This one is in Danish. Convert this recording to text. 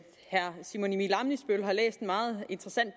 herre simon emil ammitzbøll har læst en meget interessant